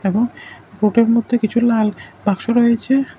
এবং ফোটের মধ্যে কিছু লাল বাক্স রয়েছে।